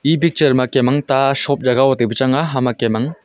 e picture ma kem ang ta shop jagah taipu chang a hama kem ang--